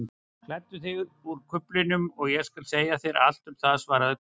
Klæddu þig úr kuflinum og ég skal segja þér allt um það svaraði konan.